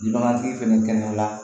Bagantigi fɛnɛ kɛnɛya kɛnɛya